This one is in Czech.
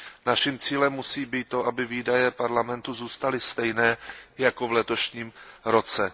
Naším cílem musí být to, aby výdaje Parlamentu zůstaly stejné jako v letošním roce.